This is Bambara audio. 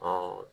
Ɔ